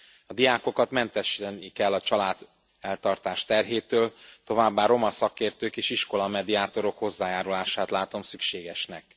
A diákokat mentesíteni kell a családeltartás terhétől, továbbá roma szakértők és iskola mediátorok hozzájárulását látom szükségesnek.